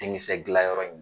Denkisɛ dilan yɔrɔ in,